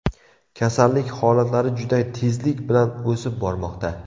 Kasallik holatlari juda tezlik bilan o‘sib bormoqda.